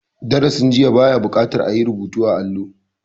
Darasin jiya ba ya buƙatar a yi rubutu a allo.